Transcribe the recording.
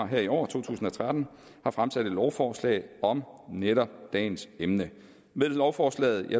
her i år to tusind og tretten har fremsat et lovforslag om netop dagens emne med lovforslaget